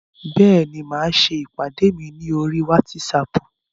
Bẹ́ẹ̀ni, mo máa ṣe ìpàdé mi ní oríi wátísapù